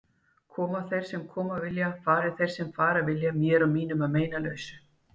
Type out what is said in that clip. Komi þeir sem koma vilja, fari þeir sem fara vilja, mér og mínum að meinalausu.